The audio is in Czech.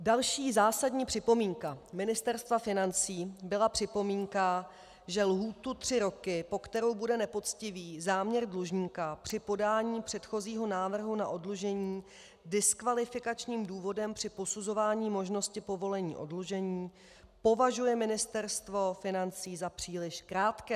Další zásadní připomínka Ministerstva financí byla připomínka, že lhůtu tři roky, po kterou bude nepoctivý záměr dlužníka při podání předchozího návrhu na oddlužení diskvalifikačním důvodem při posuzování možnosti povolení oddlužení, považuje Ministerstvo financí za příliš krátkou.